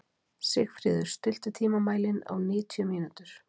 Sigfríður, stilltu tímamælinn á níutíu mínútur.